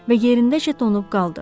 Və yerindəcə donub qaldı.